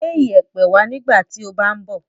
Gbé ìyẹ̀pẹ̀ wá nígbà tí o bá ń bọ̀.